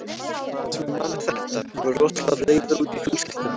Það sem ég man er þetta: Ég var rosalega reiður út í fjölskylduna.